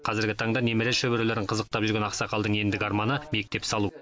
қазіргі таңда немере шөберелерін қызықтап жүрген ақсақалдың ендігі арманы мектеп салу